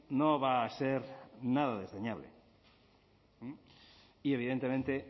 no va a ser nada desdeñable y evidentemente